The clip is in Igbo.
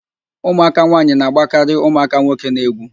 Ụmụaka nwaanyị na-agbakarị ụmụaka nwoke n'egwu